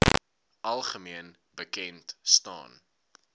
algemeen bekend staan